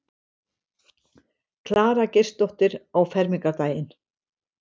Klara Geirsdóttir á fermingardaginn.